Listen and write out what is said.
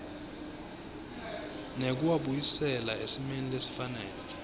nekuwabuyisela esimeni lesifanele